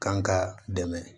Kan ka dɛmɛ